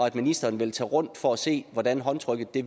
at ministeren vil tage rundt for at se hvordan håndtrykket